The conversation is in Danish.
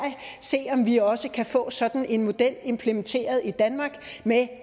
se om vi også kan få sådan en model implementeret i danmark